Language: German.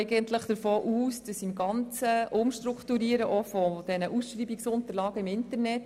Zudem gehen wir davon aus, dass man beim Umstrukturieren kritisch hinschauen wird, auch bei den Ausschreibungsunterlagen im Internet.